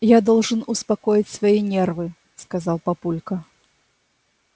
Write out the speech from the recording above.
я должен успокоить свои нервы сказал папулька